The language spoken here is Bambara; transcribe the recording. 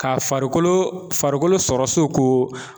Ka farikolo farikolo sɔrɔ soko